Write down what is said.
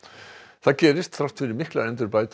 það gerist þrátt fyrir miklar endurbætur